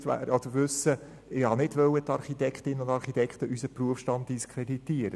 Ich wollte nicht meinen Berufsstand, nicht die Architektinnen und Architekten unseres Berufsstands, diskreditieren.